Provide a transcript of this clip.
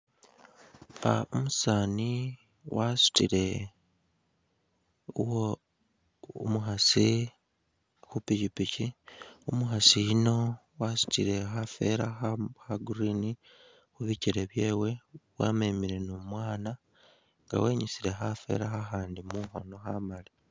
Ah umusaani wasutile uwo umukhaasi khu pikyipikyi, umukhasi yuno wasutile khafela kha kha green khubikyele byewe wamemele ni umwana nga wenyusile khafela khakhandi mukhono khamaali